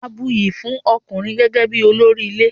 A buyì fún ọkùnrin gẹ́gẹ́ bí olórí ilé.